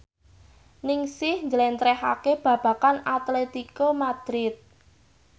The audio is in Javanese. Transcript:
Ningsih njlentrehake babagan Atletico Madrid